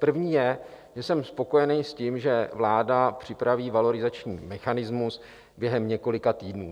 První je, že jsem spokojený s tím, že vláda připraví valorizační mechanismus během několika týdnů.